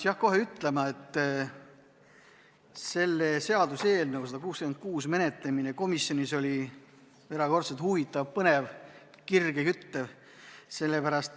Pean kohe ütlema, et seaduseelnõu 166 menetlemine komisjonis oli erakordselt huvitav, põnev ja kirgi küttev.